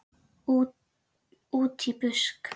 Útí busk.